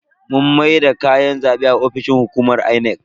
Mun maida kayan zabe a ofishin hukumar Inec.